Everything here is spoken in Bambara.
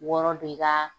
Wɔɔrɔ de ka